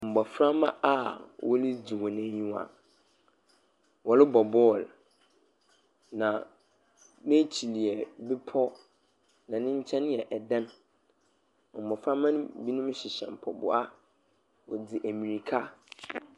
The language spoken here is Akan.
Mboframba a wɔregye hɔn enyiwa. Wɔrobɔ ball, na n'ekyir yɛ bepɔ, na ne nkyɛn yɛ bepɔ. Mboframba no binom hyehyɛ mpaboa dzi mbirka.